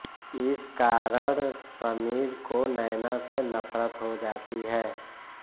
इस कारण समीर को नैना से नफरत हो जाती है